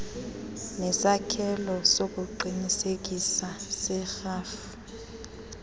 nesakhelo sokuqinisekisa serhafu